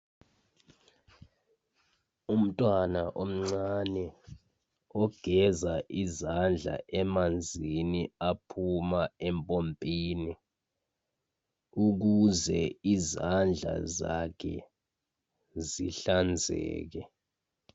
Umntwana omncane ogeza izandla emanzini aphuma empompini ukuze izandla zakhe zihlanzeke.